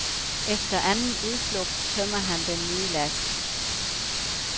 Efter anden udflugt tømmer han den nye last.